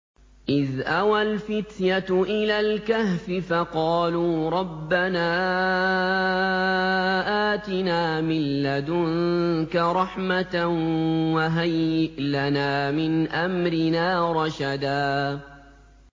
إِذْ أَوَى الْفِتْيَةُ إِلَى الْكَهْفِ فَقَالُوا رَبَّنَا آتِنَا مِن لَّدُنكَ رَحْمَةً وَهَيِّئْ لَنَا مِنْ أَمْرِنَا رَشَدًا